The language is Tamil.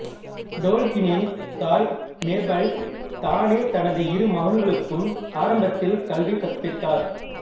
டோல்கீனின் தாய் மேபல் தானே தனது இரு மகன்களுக்கும் ஆரம்பத்தில் கல்வி கற்பித்தார்